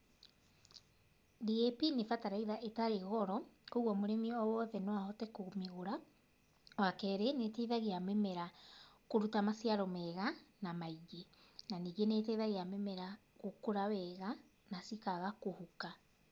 DAP nĩ bataraitha ĩtarĩ goro, koguo mũrĩmi o wothe no ahote kũmĩgũra. Wa kerĩ nĩ ĩteithagia mimera kũruta maciaro mega na maingĩ. Na ningĩ nĩ ĩteithagia mĩmera gũkũra wega na cikaga kũhuka.